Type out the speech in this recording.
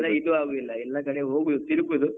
ಅಲ್ಲ ಇದು ಆಗುದಿಲ್ಲ, ಎಲ್ಲ ಕಡೆ ಹೋಗುದು ತಿರುಗುದು.